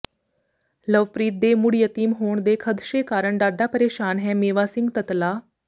ਲਵਪ੍ਰੀਤ ਦੇ ਮੁੜ ਯਤੀਮ ਹੋਣ ਦੇ ਖਦਸ਼ੇ ਕਾਰਨ ਡਾਢਾ ਪਰੇਸ਼ਾਨ ਹੈ ਮੇਵਾ ਸਿੰਘ ਤਤਲਾ